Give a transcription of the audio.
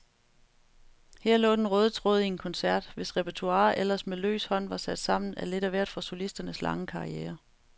Her lå den røde tråd i en koncert, hvis repertoire ellers med løs hånd var sat sammen af lidt af hvert fra solistens lange karriere.